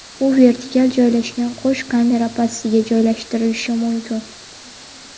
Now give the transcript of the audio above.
U vertikal joylashgan qo‘sh kamera pastiga joylashtirilishi mumkin.